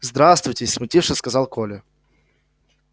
здравствуйте смутившись сказал коля